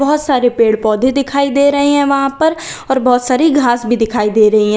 बहुत सारे पेड़ पौधे दिखाई दे रहे हैं वहां पर और बहुत सारी घास भी दिखाई दे रही हैं।